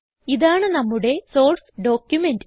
ഇതാണ് നമ്മുടെ source document